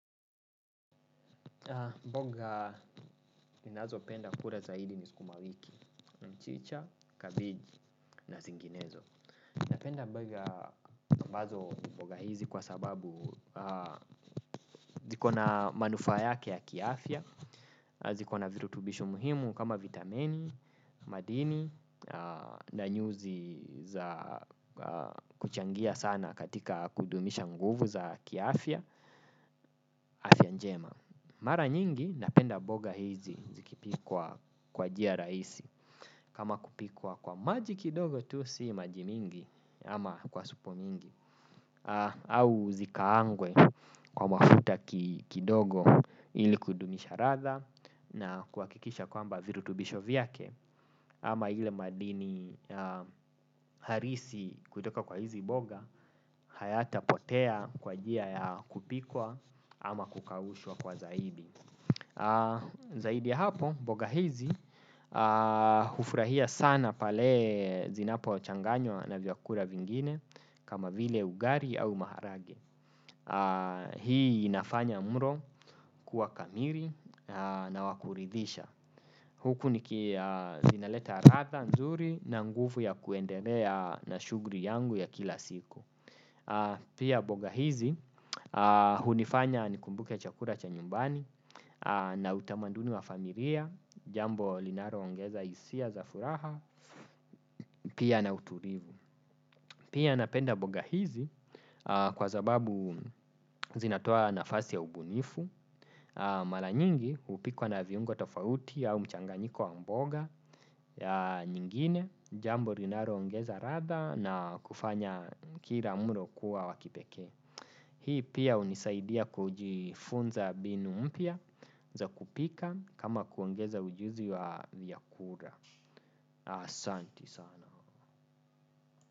Mboga ninazo penda kula zaidi ni sukumawiki mchicha kabeji na zinginezo. Napenda mboga ambazo mboga hizi kwa sababu zikona manufaa yake ya kiafya zikona virutubisho muhimu kama vitamini, madini na nyuzi za kuchangia sana katika kudumisha nguvu za kiafya afya njema. Mara nyingi napenda mboga hizi zikipikwa kwa njia rahisi kama kupikwa kwa maji kidogo tu si maji mingi ama kwa supu mingi au zikaangwe kwa mafuta kidogo ili kudumisha ladha na kuhakikisha kwamba virutubisho vyake ama ile madini halisi kutoka kwa hizi mboga hayatapotea kwa njia ya kupikwa ama kukaushwa kwa zaidi. Zaidi ya hapo, mboga hizi hufurahia sana pale zinapo changanywa na vyakula vingine. Kama vile ugali au maharage. Hii inafanya mlo kuwa kamili na wa kuridhisha. Huku niki zinaleta ladha nzuri na nguvu ya kuendelea na shughli yangu ya kila siku. Pia mboga hizi hunifanya nikumbuke chakula cha nyumbani. Na utamanduni wa familia, jambo linalo ongeza hisia za furaha pia na utulivu. Pia napenda mboga hizi kwa sababu zinatoa nafasi ya ubunifu. Mara nyingi hupikwa na viungo tofauti au mchanganyiko wa mboga nyingine. Jambo linalo ongeza ladha na kufanya kila mlo kuwa wa kipekee. Hii pia hunisaidia kujifunza mbinu mpya za kupika kama kuongeza ujuzi wa vyakula. Asanti sana.